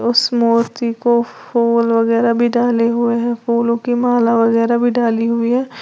उस मूर्ति को फूल वगैरा भी डाले हुए हैं फूलों की माला वगैरा भी डाली हुई है।